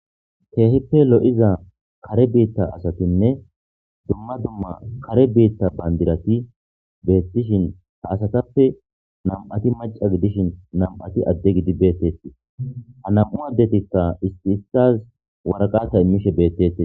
keehippe lo'iza kare biitta asatinne dumma dumma kare biitta bandirati beettishin ha asatappe nam'ati maca gidishin nam'ati adde gidi beettettii ha nam'u addetikka isti issaz waraqata imishe beettetes